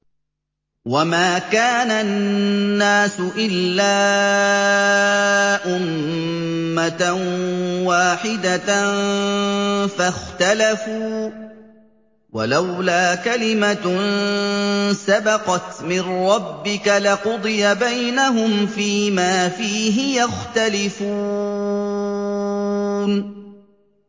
وَمَا كَانَ النَّاسُ إِلَّا أُمَّةً وَاحِدَةً فَاخْتَلَفُوا ۚ وَلَوْلَا كَلِمَةٌ سَبَقَتْ مِن رَّبِّكَ لَقُضِيَ بَيْنَهُمْ فِيمَا فِيهِ يَخْتَلِفُونَ